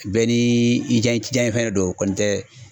Bɛɛ ni i diyaɲɛ fɛn de don kɔni tɛ